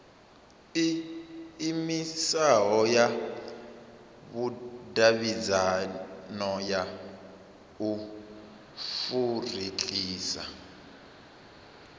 iimisaho ya vhudavhidzano ya afurika